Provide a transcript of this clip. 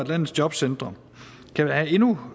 landets jobcentre kan være endnu